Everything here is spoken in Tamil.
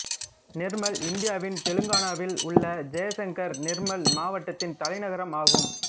நிர்மல் இந்தியாவின் தெலுங்கானாவில் உள்ள ஜெயசங்கர் நிர்மல் மாவட்டத்தின் தலைநகரும் ஆகும்